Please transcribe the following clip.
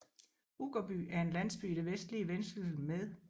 Uggerby er en landsby i det vestlige Vendsyssel med